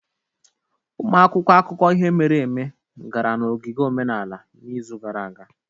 Ụmụ akwụkwọ akụkọ ihe mere eme gara n'ogige omenala n'izu gara aga